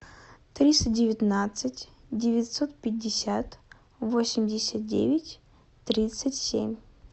триста девятнадцать девятьсот пятьдесят восемьдесят девять тридцать семь